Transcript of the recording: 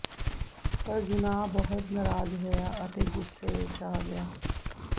ਪਰ ਯੂਨਾਹ ਬਹੁਤ ਨਰਾਜ਼ ਹੋਇਆ ਅਤੇ ਗੁੱਸੇ ਵਿੱਚ ਆ ਗਿਆ